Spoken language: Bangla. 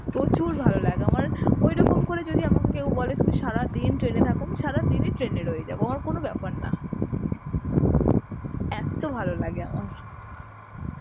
প্রচুর ভালো লাগে আমার ঐরকম করে যদি আমাকে কেউ বলে তুমি সারাদিন train এ থাকো আমি সারাদিনই train এ থেকে যাবো আমার কোনো ব্যাপার নয়. এত্তো ভালো লাগে আমার.